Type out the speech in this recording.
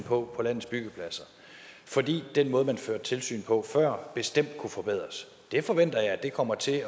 på på landets byggepladser fordi den måde man førte tilsyn på før bestemt kunne forbedres det forventer jeg kommer til at